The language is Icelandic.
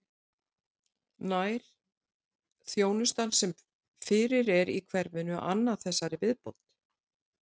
En nær þjónustan sem fyrir er í hverfinu að anna þessari viðbót?